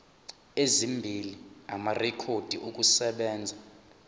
ezimbili amarekhodi okusebenza